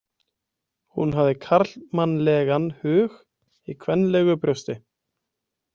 Hún hafði karlmannlegan hug í kvenlegu brjósti.